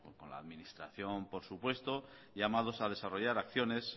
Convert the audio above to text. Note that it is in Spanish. con la administración por supuesto llamados a desarrollar acciones